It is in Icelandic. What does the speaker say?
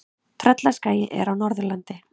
Tröllaskagi er á Norðurlandi.